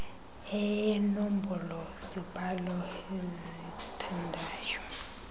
eenombolo mbhalo abazithandayo